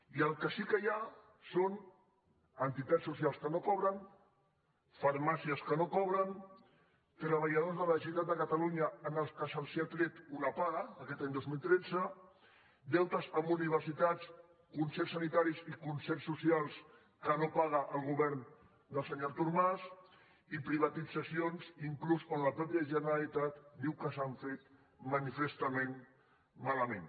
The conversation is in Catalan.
i el que sí que hi ha són entitats socials que no cobren farmàcies que no cobren treballadors de la generalitat de catalunya a qui s’ha tret una paga aquest any dos mil tretze deutes amb universitats concerts sanitaris i concerts socials que no paga el govern del senyor artur mas i privatitzacions inclús on la mateixa generalitat diu que s’han fet manifestament malament